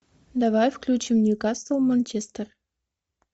давай включим ньюкасл манчестер